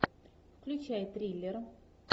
включай триллер